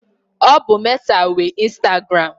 Ọ bụ Meta nwe instagụram.